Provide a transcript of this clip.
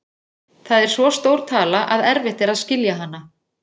Það er svo stór tala að erfitt er að skilja hana.